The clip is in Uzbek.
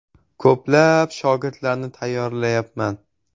Ko‘plab shogirdlarni tayyorlayapman.